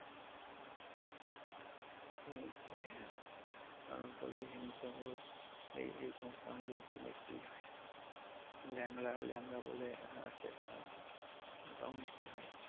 খুবই মিষ্টি হয় হ্যা আম্রপলি হিমসাগড় এই এই সমস্ত আমগুলো মিষ্টিই হয় ল্যাংড়া ল্যাংড়া বলে আছে একটা আম ওটাও মিষ্টি হয়।